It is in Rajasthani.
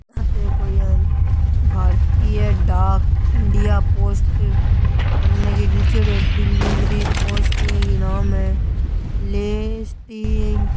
आ तो कोई ए यान भारतीय डाक इंडिया पोस्ट अने की लिखएडो है डिलीवरी पोस्ट इया की नाम है --